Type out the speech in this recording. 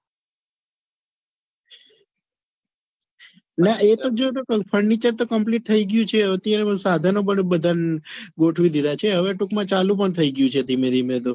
ના એ તો જુદું પણ furniture તો complete થઈ ગયું છે અત્યારે સાધનો પણ બધા ગોઠવી દીધા છે હવે ટૂંક માં ચાલુ પણ થઈ ગયું છે ધીમે ધીમે તો.